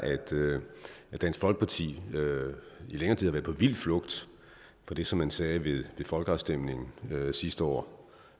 at dansk folkeparti i længere tid har været på vild flugt fra det som man sagde ved folkeafstemningen sidste år